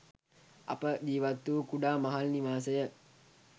අප ජීවත් වූ කුඩා මහල් නිවාසය